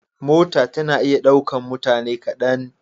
Mota tana iya ɗaukan mutane kaɗan.